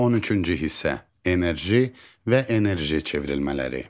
13-cü hissə: Enerji və enerji çevrilmələri.